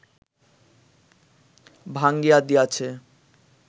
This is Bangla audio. ভাঙ্গিয়া দিয়াছে